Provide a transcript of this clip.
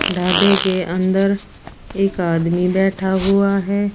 ढाबे के अंदर एक आदमी बैठा हुआ है।